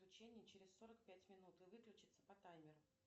включение через сорок пять минут и выключиться по таймеру